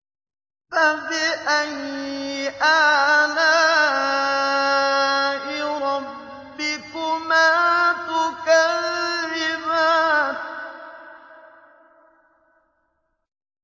فَبِأَيِّ آلَاءِ رَبِّكُمَا تُكَذِّبَانِ